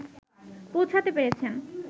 পৌঁছাতে পেরেছেন